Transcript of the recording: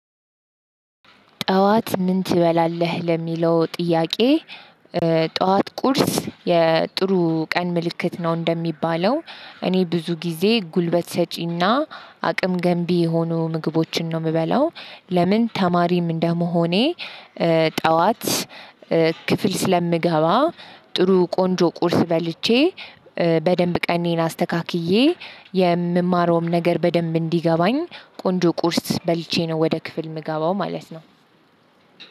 ጠዋት ምን ትችላለህ ለሚለው ጥያቄ የጠዋት ቁርስ የጥሩ ቀን ምልክት ነው እንደሚባለው? እኔ ብዙ ጊዜ ጉልበት ሰጪና አቅም ገንቢ የሆኑ ምግቦችን ነው የምበላው። ለምን ተማሪም እንደመሆኔ። ጠዋት ክፍል ስለምገባ ጥሩ ቆንጆ ቁርስ በልቼ በደንብ ቀኔን አስተካክዬ የምማረውም ነገር በደንብ እንዲገባኝ ቆንጆ ቁርስ በልቼ ነው። ወደ ክፍል የምገባው ማለት ነው።